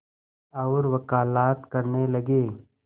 और वक़ालत करने लगे